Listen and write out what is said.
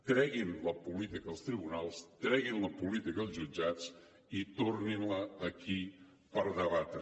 treguin la política dels tribunals treguin la política dels jutjats i tornin la aquí per debatre